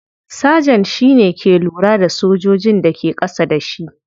Sergeant shi ke lura da sojojin da ke kasa da shi.